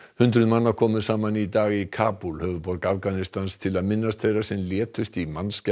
hundruð manna komu saman í dag í Kabúl höfuðborg Afganistans til að minnast þeirra sem létust í